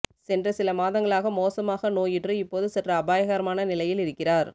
சென்ற சிலமாதங்களாக மோசமாக நோயுற்று இப்போது சற்று அபாயகரமான நிலையில் இருக்கிறார்